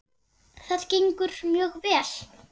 Það gengur mjög vel.